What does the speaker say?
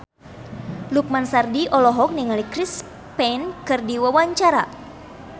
Lukman Sardi olohok ningali Chris Pane keur diwawancara